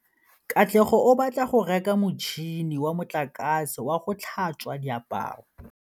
Katlego o batla go reka motšhine wa motlakase wa go tlhatswa diaparo.